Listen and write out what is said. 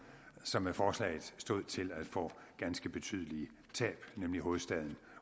som med forslaget stod til at få ganske betydelige tab nemlig region hovedstaden